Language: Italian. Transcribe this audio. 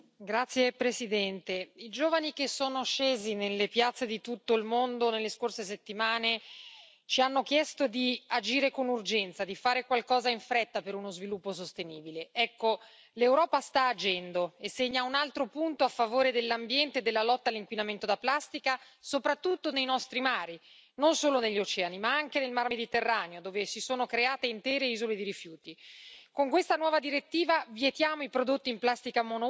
Signor Presidente, onorevoli colleghi, i giovani che sono scesi nelle piazze di tutto il mondo nelle scorse settimane ci hanno chiesto di agire con urgenza, di fare qualcosa in fretta per uno sviluppo sostenibile. Ecco, l'Europa sta agendo e segna un altro punto a favore dell'ambiente e della lotta all'inquinamento da plastica, soprattutto nei nostri mari, non solo negli oceani ma anche nel Mar Mediterraneo, dove si sono create intere isole di rifiuti.